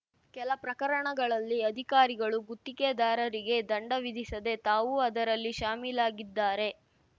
ಕೆಲ ಪ್ರಕರಣಗಳಲ್ಲಿ ಅಧಿಕಾರಿಗಳು ಗುತ್ತಿಗೆದಾರರಿಗೆ ದಂಡ ವಿಧಿಸದೆ ತಾವೂ ಅದರಲ್ಲಿ ಶಾಮೀಲಾಗಿದ್ದಾರೆ